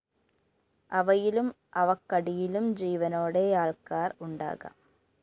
അവയിലും അവക്കടിയിലും ജീവനോടെയാള്‍ക്കാര്‍ ഉണ്ടാകാം